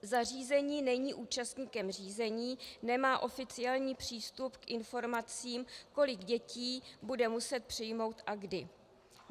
Zařízení není účastníkem řízení, nemá oficiální přístup k informacím, kolik dětí bude muset přijmout a kdy.